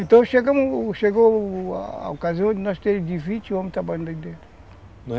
Então, chegou a ocasião de nós terem de vinte homens trabalhando